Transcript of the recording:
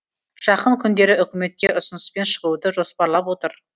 жақын күндері үкіметке ұсыныспен шығуды жоспарлап отыр